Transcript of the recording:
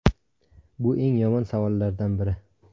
Bu eng yomon savollardan biri.